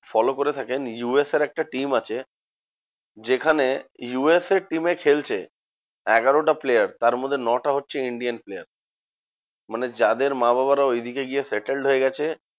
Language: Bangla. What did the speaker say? Follow করে থাকেন। ইউ এস এ র একটা team আছে যেখানে ইউ এস এ র team এ খেলছে আগোরাটা player তারমধ্যে নটা হচ্ছে Indian player. মানে যাদের মা বাবারা ঐদিকে গিয়ে settled হয়ে গেছে